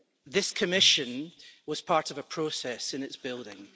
This Commission was part of a process in its building.